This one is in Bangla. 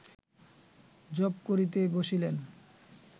জপ করিতে বসিলেন